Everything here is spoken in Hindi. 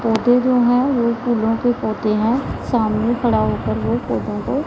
पौधे जो हैं वो फूलों के पौधे हैं सामने खड़ा होकर ओ पौधों को--